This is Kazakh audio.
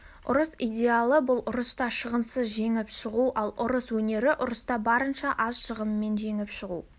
ұрыс идеалы бұл ұрыста шығынсыз жеңіп шығу ал ұрыс өнері ұрыста барынша аз шығынмен жеңіп шығу